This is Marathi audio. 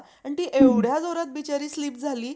आणि ती एवढ्या जोरात बिचारी slip झाली.